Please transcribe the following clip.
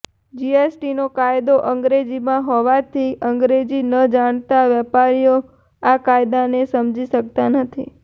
જીએસટીનો કાયદો અંગ્રેજીમાં હોવાથી અંગ્રેજી ન જાણતા વેપારીઓ આ કાયદાને સમજી શક્તા નથી